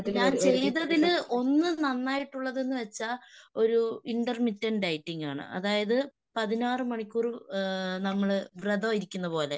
ഞാൻ ചെയ്തതില് ഒന്ന് നന്നായിട്ടുള്ളത്‍ന്ന് വെച്ചാൽ ഒരു ഇന്റെർമിറ്റെൻഡ് ഡൈറ്റിങ് ആണ്. അതായത് പതിനാറ് മണിക്കൂറ് ഏഹ് നമ്മള് വ്രതം ഇരിക്കുന്നതുപോലെ.